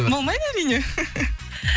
болмайды әрине